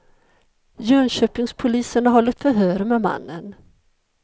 Jönköpingspolisen har hållit förhör med mannen.